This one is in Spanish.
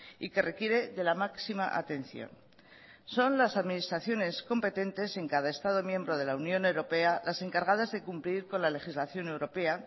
y que requiere de la máxima atención son las administraciones competentes en cada estado miembro de la unión europea las encargadas de cumplir con la legislación europea